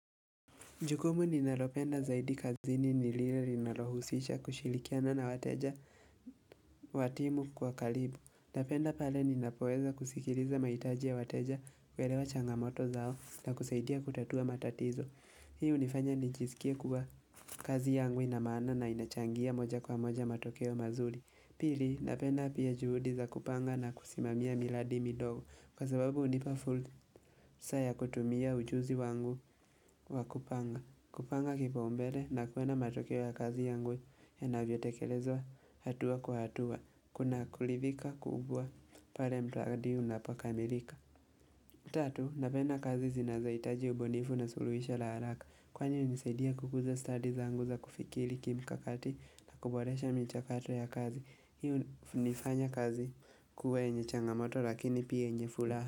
Jukumu ninalopenda zaidi kazini nilile linalohusisha kushilikiana na wateja watimu kwa kalibu. Napenda pale ninapoeza kusikiliza maitaji ya wateja uwelewa changamoto zao na kusaidia kutatua matatizo. Hi unifanya nijisikie kwa kazi yangu inamaana na inachangia moja kwa moja matokeo mazuri. Pili napenda apia juhudi za kupanga na kusimamia miradi midogo. Kwa sababu unipa fulsa ya kutumia ujuzi wangu wa kupanga. Kupanga kipa umbele na kuwenda matokeo ya kazi yangu yanavyotekelezwa hatua kwa hatua. Kuna kulidhika kubwa pale mradi unapokamilika. 3. Napenda kazi zinazaitaji ubunifu na suluhisha la haraka. Kwani unisidia kukuza studies anguza kufikili kimkakati na kuboresha michakato ya kazi. Hi unifanya kazi kuwa yenye changamoto lakini pia yenyefulaha.